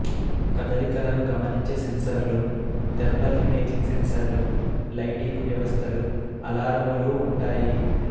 కదలికలను గమనించే సెన్సర్లు థెర్మల్ ఇమేజింగు సెన్సర్లు లైటింగు వ్యవస్థలు అలారములూ ఉంటాయి